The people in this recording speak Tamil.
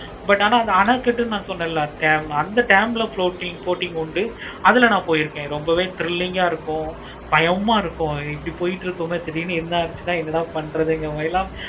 but ஆனா அணைக்கட்டு நா சோன்ல dam அந்த dam ல boating உண்டு. அதுல நா போயிருக்கேன் ரொம்பவே thrilling ஆஹ் இருக்கும். பயமா இருக்கும் இப்படி போய்கிட்டு இருக்குமே திடீருனு என்ன ஆச்சுன்னா என்னடா பறக்கிற மாதிரி